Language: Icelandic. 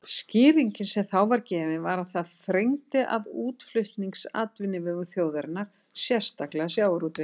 Skýringin sem þá var gefin var að það þrengdi að útflutningsatvinnuvegum þjóðarinnar, sérstaklega sjávarútvegi.